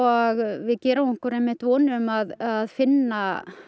við gerum okkur einmitt vonir um að að finna